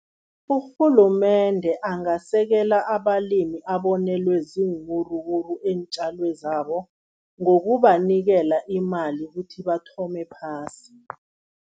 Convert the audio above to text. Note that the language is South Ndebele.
Urhulumende angasekela abalimi abonelwe ziinwuruwuru eentjalweni zabo, ngokubanikela imali ukuthi bathome phasi.